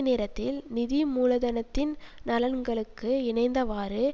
நேரத்தில் நிதி மூலதனத்தின் நலன்களுக்கு இணைந்தவாறு